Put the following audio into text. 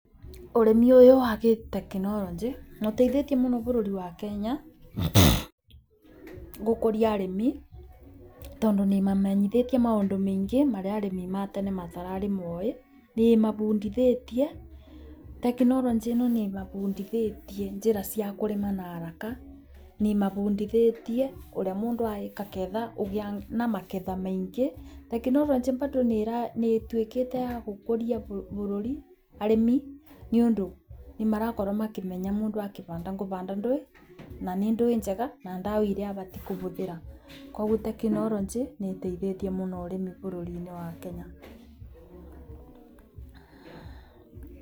Ũrĩmi ũyũ wa gĩtekinoronjĩ nĩ uteithĩtie mũno bũrũri-inĩ wa Kenya gũkũria arimi tondũ nĩ imamenyithĩtie maũndũ maingĩ marĩa arĩmi ma tene matararĩ moĩ. Nĩ ĩmabundĩthĩtie tekinoronjĩ ĩno nĩ ĩmabundithitie njira cia kũrĩma na haraka, nĩ ĩmabundithĩtie ũrĩa mũndũ areka ketha ũgĩa na maketha maingĩ. Tekinoronjĩ bado nnĩ ituĩkĩte ya gũkũria bũruri arĩmi nĩ undũ nĩ marakorwo makĩmenya mũndũ akĩbanda ngũbanda ndũĩ na nĩ ndũĩ njega na ndawa iria abatiĩ kũbũthĩra. Koguo tekinoronjĩ nĩ ĩteithĩtie muno ũrĩmi bũruri-inĩ wa Kenya.